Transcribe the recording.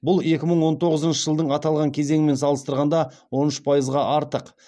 бұл екі мың он тоғызыншы жылдың аталған кезеңімен салыстырғанда он үш пайызға артық